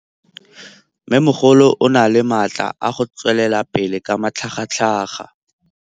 Mmêmogolo o na le matla a go tswelela pele ka matlhagatlhaga.